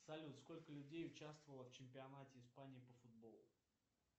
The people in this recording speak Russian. салют сколько людей участвовало в чемпионате испании по футболу